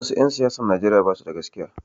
Wasu 'yan siyasan Nijeriya basu da gaskiya